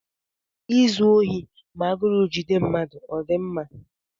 Izu ohi ma agụrụ jide mmadụ ọ dị mma?